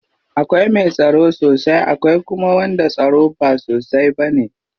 Akwai mai tsaro sosai akwai kuma wanda tsaron ba sosai bane.